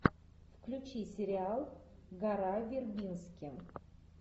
включи сериал гора вербински